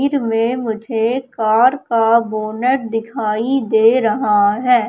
इर में मुझे कार का बोनट दिखाई दे रहा है।